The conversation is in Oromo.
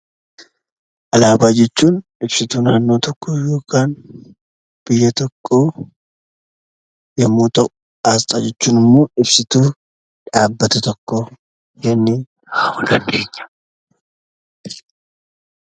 Alaabaa jechuun ibsituu naannoo tokkoo yookaan biyya tokkoo yommuu ta'u; Asxaa jechuun immoo ibsituu dhaabbata tokkoo jennee kaa'uu dandeenya.